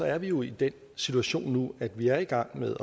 er vi jo i den situation nu at vi er i gang med